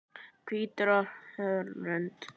Hvítur á hörund.